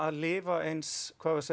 lifa eins